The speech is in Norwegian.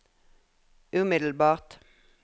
umiddelbart